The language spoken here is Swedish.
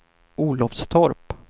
Olofstorp